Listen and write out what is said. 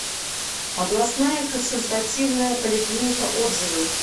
областная консультативная поликлиника отзывы